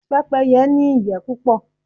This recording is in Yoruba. Pẹ́pẹ́yẹ́ ní ìyẹ́ púpọ̀.